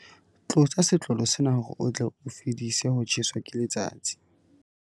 Tlotsa setlolo sena hore o tle o fedise ho tjheswa ke letsatsi.